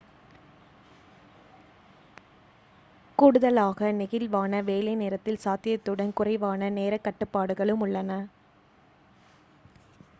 கூடுதலாக நெகிழ்வான வேலை நேரத்தின் சாத்தியத்துடன் குறைவான நேரக் கட்டுப்பாடுகளும் உள்ளன. ப்ரெமர் 1998